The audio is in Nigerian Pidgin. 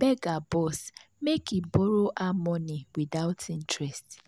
beg her boss make he borrow her money without interest.